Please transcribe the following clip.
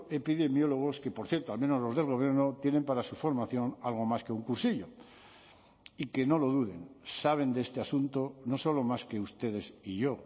epidemiólogos que por cierto al menos los del gobierno tienen para su formación algo más que un cursillo y que no lo duden saben de este asunto no solo más que ustedes y yo